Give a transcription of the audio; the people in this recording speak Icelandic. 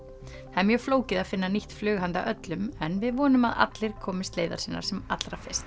það er mjög flókið að finna nýtt flug handa öllum en við vonum að allir komist leiðar sinnar sem allra fyrst